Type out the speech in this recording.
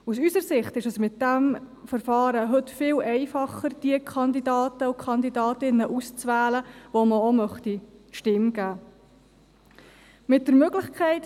Aus unserer Sicht ist es mit diesem Verfahren heute viel einfacher, die Kandidatinnen und Kandidaten auszuwählen, denen man die Stimme geben möchte.